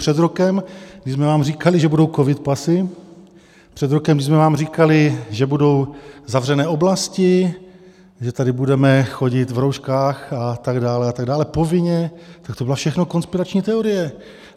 Před rokem, kdy jsme vám říkali, že budou covid pasy, před rokem, kdy jsme vám říkali, že budou zavřené oblasti, že tady budeme chodit v rouškách a tak dále a tak dále povinně, tak to byla všechno konspirační teorie.